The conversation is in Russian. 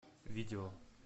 видео